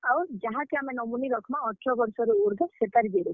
ଆଉ, ଯାହାକେ ଆମେ nominee ରଖ୍ ମା ଅଠର ବର୍ଷ ରୁ ଉର୍ଦ୍ଧ ସେତାର୍ xerox ।